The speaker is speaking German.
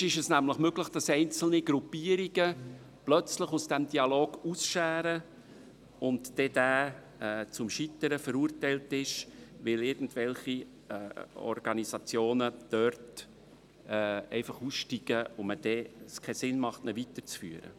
Sonst ist es möglich, dass einzelne Gruppierungen plötzlich aus dem Dialog ausscheren und dieser zum Scheitern verurteilt ist, weil irgendwelche Organisationen einfach aussteigen und es keinen Sinn macht, diesen weiterzuführen.